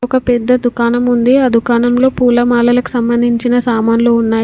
ఒక పెద్ద దుకాణం ఉంది ఆ దుకాణం లో పూలమాలలకు సంబంధించిన సామాన్లు ఉన్నాయి.